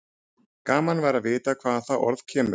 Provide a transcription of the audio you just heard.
Gaman væri að vita hvaðan það orð kemur.